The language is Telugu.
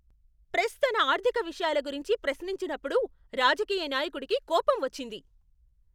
ప్రెస్ తన ఆర్థిక విషయాల గురించి ప్రశ్నించినప్పుడు రాజకీయ నాయకుడుకి కోపం వచ్చింది.